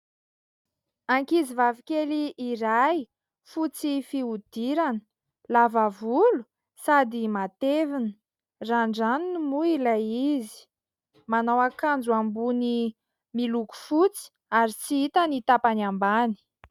Ankizivavy kely iray fotsy fihodirana lava volo sady matevina randraniny moa ilay izy, manao akanjo ambony miloko fotsy ary tsy hita ny tapany ambany.